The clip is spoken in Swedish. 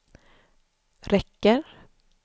räcker